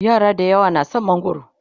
yara dayawa na da San mangwaro